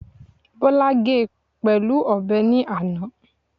Bọ́lá ge pẹ̀lú ọ̀bẹ ní àná